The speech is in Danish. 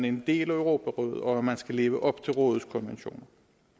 en del af europarådet og at man skal leve op til rådets konventioner